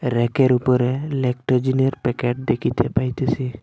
ব়্যাকের উপরে ল্যাকটোজেনের প্যাকেট দেখিতে পাইতেসি।